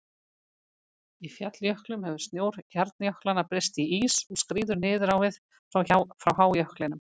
Í falljöklum hefur snjór hjarnjöklanna breyst í ís og skríður niður á við frá hájöklinum.